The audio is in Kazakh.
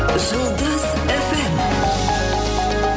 жұлдыз эф эм